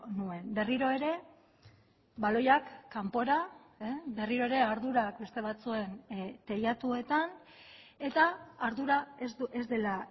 nuen berriro ere baloiak kanpora berriro ere ardurak beste batzuen teilatuetan eta ardura ez dela